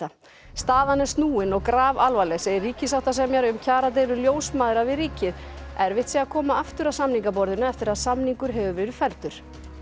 staðan er snúin og grafalvarleg segir ríkissáttasemjari um kjaradeilu ljósmæðra við ríkið erfitt sé að koma aftur að samningaborðinu eftir að samningur hefur verið felldur